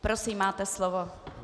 Prosím, máte slovo.